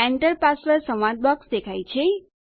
enter password સંવાદ box દેખાય છે